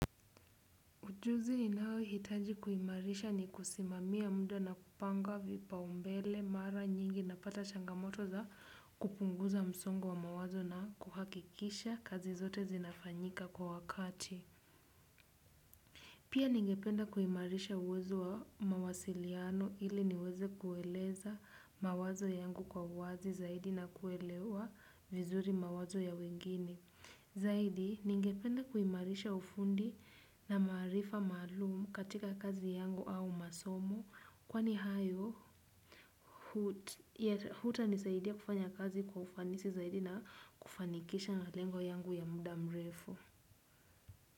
Ujuzi ninaohitaji kuimarisha ni kusimamia muda na kupanga vipaumbele. Mara nyingi napata changamoto za kupunguza msongo wa mawazo na kuhakikisha kazi zote zinafanyika kwa wakati. Pia ningependa kuimarisha uwezo wa mawasiliano ili niweze kueleza mawazo yangu kwa uwazi zaidi na kuelewa vizuri mawazo ya wengine. Zaidi, ningependa kuimarisha ufundi na maarifa maalumu katika kazi yangu au masomo. Kwani hayo yatanisaidia kufanya kazi kwa ufanisi zaidi na kufanikisha malengo yangu ya muda mrefu.